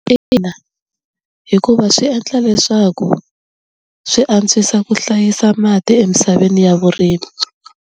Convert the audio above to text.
Ina hikuva swi endla leswaku swi antswisa ku hlayisa mati emisaveni ya vurimi.